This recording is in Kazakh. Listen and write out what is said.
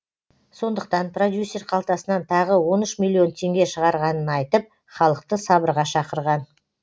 сондықтан продюсер қалтасынан тағы он үш миллион теңге шығарғанын айтып халықты сабырға шақырған